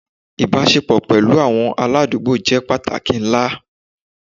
Ibasepo pẹlu awọn aladugbo jẹ pataki nla